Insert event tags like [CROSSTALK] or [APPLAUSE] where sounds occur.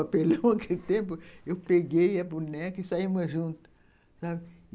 [LAUGHS] papelão aquele tempo, eu peguei a boneca e saímos juntas, sabe.